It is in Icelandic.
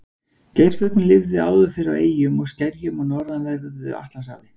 geirfuglinn lifði áður fyrr á eyjum og skerjum á norðanverðu atlantshafi